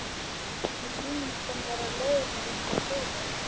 Mér sýnist hann vera á leið út á flugvöll.